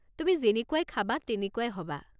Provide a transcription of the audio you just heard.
তুমি যেনেকুৱাই খাবা তেনেকুৱাই হ'বা।